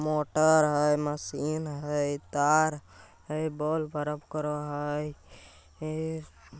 motor है machine है तार है बल्ब करक है ए --